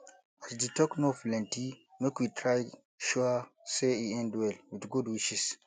as di talk no plenty make we try make sure say e end well with good wishes